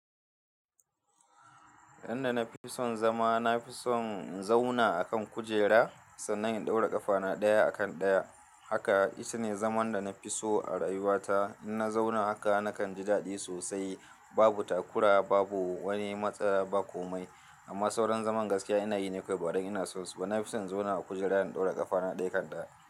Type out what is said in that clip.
Inda na fi son zama, na fi son in zauna a kan kujera sannan in ɗaura ƙafana ɗaya a kan ɗaya. Haka, ita ne zaman da na fi so a rayuwata. In na zauna haka nakan ji daɗi sosai, babu takura, babu wani matsala ba komai. Amma sauran zaman gaskiya ina yi ne kawai badan ina so. So na fi son in zauna a kujera in ɗaura ƙafana ɗaya kan ɗaya.